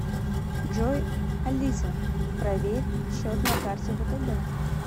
джой алиса проверь счет на карте втб